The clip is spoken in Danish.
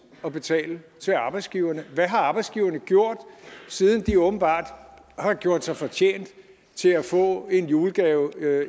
at betale til arbejdsgiverne hvad har arbejdsgiverne gjort siden de åbenbart har gjort sig fortjent til at få en julegave